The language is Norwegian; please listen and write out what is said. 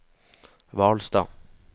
Hvalstad